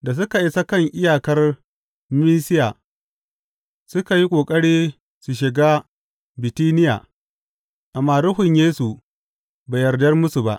Da suka isa kan iyakar Misiya, suka yi ƙoƙari su shiga Bitiniya, amma Ruhun Yesu bai yarda musu ba.